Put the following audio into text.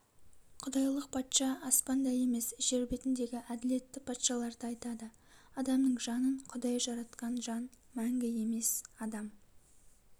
құдайлық патша аспанда емес жер бетіндегі әділетті патшаларды айтады адамның жанын құдай жаратқан жан мәңгі емес адам